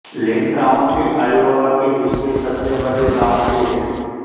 लिन county Iowa की दूसरी सबसे बड़ी काउंटी है